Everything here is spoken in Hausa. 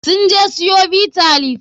Sun je siyo Bitter leaf.